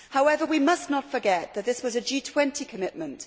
However, we must not forget that this was a G20 commitment.